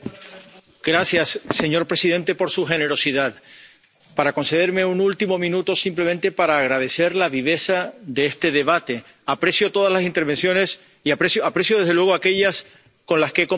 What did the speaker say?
Señor presidente, gracias por su generosidad al concederme un último minuto simplemente para agradecer la viveza de este debate. Aprecio todas las intervenciones y aprecio, desde luego, aquellas con las que he compartido principios.